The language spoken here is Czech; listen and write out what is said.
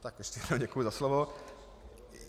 Tak ještě jednou děkuji za slovo.